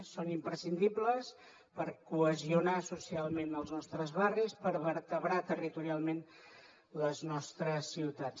són imprescindibles per cohesionar socialment els nostres barris per vertebrar territorialment les nostres ciutats